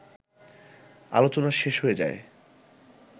আলোচনা শেষ হয়ে যায়